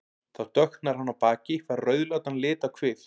Þá dökknar hann á baki, fær rauðleitan lit á kvið.